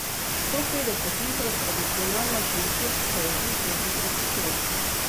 Sto petdeset litrov tradicionalne šenčurske jedi je hitro pošlo.